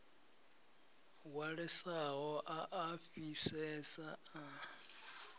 hwalesaho a a fhisesa a